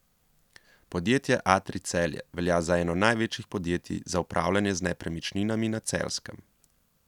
Podjetje Atrij Celje velja za eno največjih podjetij za upravljanje z nepremičninami na Celjskem.